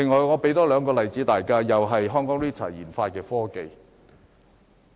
我再舉兩個例子，也是研發中心研發的科技。